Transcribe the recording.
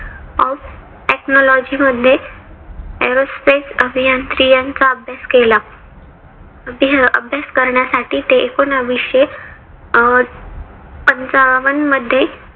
of technology मध्ये aerospace अभियांत्रिकी चा अभ्यास केला. अभ्यास करण्यासाठी ते एकोनाविशे अं पंचावन मध्ये